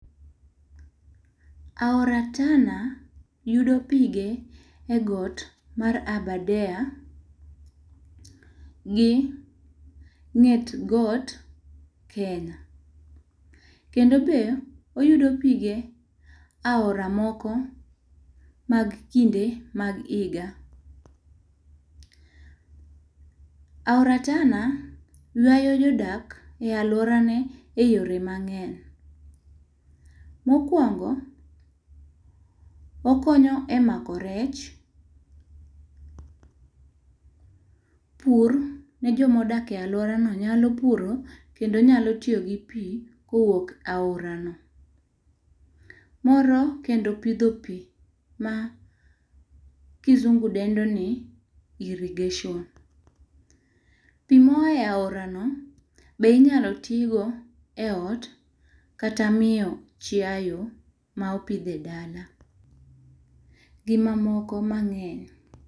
Aora Tana yudo pige e got mar Aberdare gi nget got Kenya kendo be oyudo pige e aora moko mag kinde mag higa. Aora Tana ywayo jo dak e aluora ne e yore mang'eny. Ma okuongo okonyo e mako rech, pur ne jo ma odak e aluora no nyalo puro kendo nyalo tiyo gi pi ka owuok e oara no.Moro kendo pidho pi ma kizungu dendo ni irrigation. Pi ma oa e aora no be inyalo ti go e ot kata miyo chiayo ma opidh e dala gi ma moko mang'eny.